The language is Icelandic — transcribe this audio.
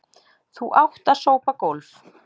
Þú átt að sópa gólf.